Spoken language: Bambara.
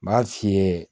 M'a f'i ye